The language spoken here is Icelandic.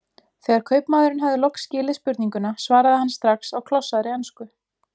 Þegar kaupmaðurinn hafði loks skilið spurninguna svaraði hann strax á klossaðri ensku